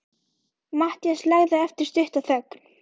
Matthías lagði á eftir stutta þögn.